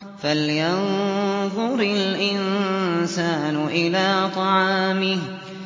فَلْيَنظُرِ الْإِنسَانُ إِلَىٰ طَعَامِهِ